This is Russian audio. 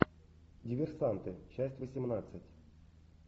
диверсанты часть восемнадцать